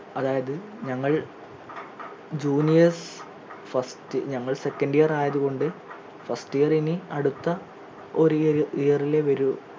അതായത് ഞങ്ങൾ juniors first ഞങ്ങൾ second year ആയത് കൊണ്ട് first year എനി അടുത്ത ഒരു year year ലേ വരൂ